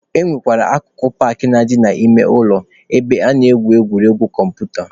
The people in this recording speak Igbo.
E nwere akụkụ paakị na-adị n'ime ụlọ ebe a na-egwu egwuregwu kọmputa.